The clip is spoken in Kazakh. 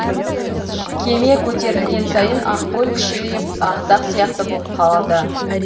кеме көтерілген сайын ақкөл кішірейіп ақ дақ сияқты боп қалды